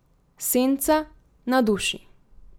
Senca na duši.